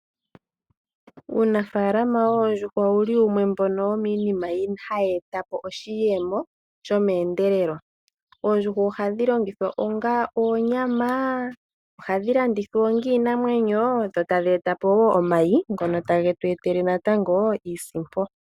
Uunafaalama woondjuhwa owu li wumwe womiinima mbyoka hayi eta po oshiyemo shomeendelelo. oondjuhwa ohadhi longithwa onga oonyama nenge dhi landithwe onga iinamwenyo dho tadhi eta po omayi ngoka haga eta iiisimpo.